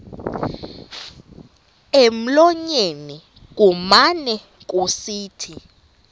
emlonyeni kumane kusithi